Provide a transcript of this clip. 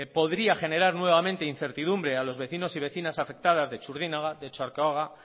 podría generar nuevamente incertidumbre a los vecinos y vecinas afectadas de txurdinaga de otxarkoaga